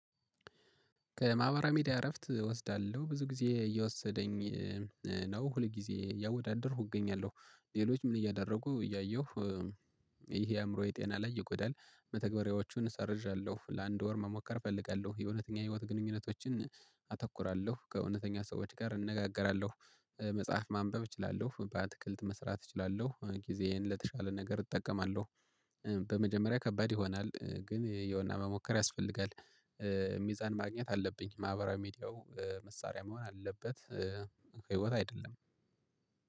ከማህበራዊ ሚዲያ እረፍት እወስዳለሁ። ብዙ ጊዜ እየወሰደኝ ነው ሁል ጊዜ እያወዳደርኩ እገኛለሁ ሌሎች ምን እያደረጉ እያየሁ ይሄ አእምሮ ጤና ላይ ይጎዳል። መተግበሪያዎቹን ሰርዣለሁ። ለአንድ ወር መሞከር እፈልጋለሁ። የእውነተኛ የህይወት ግንኙነቶችን አተኩራለሁ፤ ከእውነተኛ ሰዎች ጋር እንነጋገራለሁ መጽሐፍ ማንበብ እችላለው፣ በአትክልት መስራት እችላለው፣ ጊዜዬን ለተሻለ ነገር እጠቀማለሁ። በመጀመሪያ ከባድ ይሆናል ግን የውና መሞከር ያስፈልጋል። ሚዛን ማግኘት አለብኝ። ማህበራዊ ሚዲያው መሳሪያ መሆን አለበት ህይወት አይደለም።